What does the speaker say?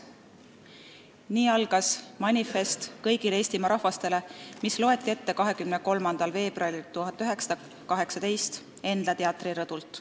" Nii algas manifest kõigile Eestimaa rahvastele, mis loeti ette 23. veebruaril 1918 Endla teatri rõdult.